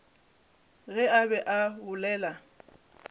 ge a be a bolela